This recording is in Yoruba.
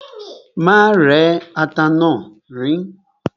Má rẹ́ ata náà, riín.